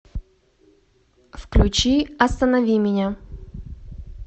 включи останови меня